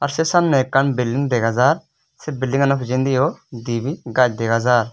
sey samney ekkan building degajar sey bildingganow pijendiyo dibey gaaj degajar.